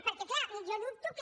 perquè clar jo dubto que